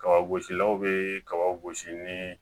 Kaba gosilaw be kabaw gosi ni